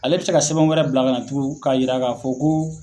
Ale be se ka sɛbɛn wɛrɛ bila ka na tugu k'a yira k'a fɔ ko